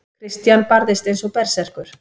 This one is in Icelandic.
Christian barðist eins og berserkur.